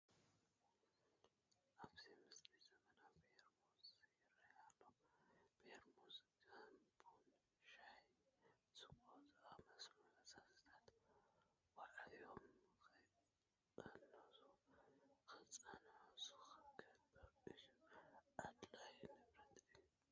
ኣብዚ ምስሊ ዘመናዊ ፔርሙዝ ይርአ ኣሎ፡፡ ፔርሙዝ ከም ቡን፣ ሻሂ፣ ስብቆ ንዝኣምሰሉ ፈሳስታት ዋዕዮም ከይቀነሱ ክፀንሑ ዝገብር እዩ፡፡ ኣድላዪ ንብረት እዩ፡፡